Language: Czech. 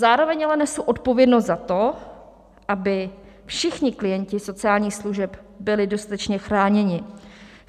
Zároveň ale nesu odpovědnost za to, aby všichni klienti sociálních služeb byli dostatečně chráněni.